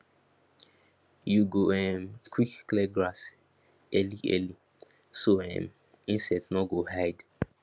you go um quick clear grass early early so um insect no go hide